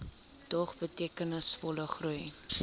dog betekenisvolle groei